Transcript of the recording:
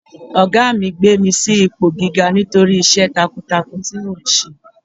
Ọ̀gá mi gbé mi sí ipò gíga nítorí iṣẹ́ takuntakun tí mò ń ṣe.